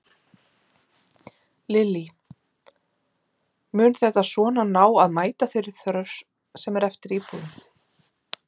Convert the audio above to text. Lillý: Mun þetta svona ná að mæta þeirri þörf sem er eftir íbúðum?